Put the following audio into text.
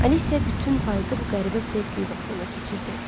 Alicia bütün payızı bu qəribə sevgi yuvasında keçirdi.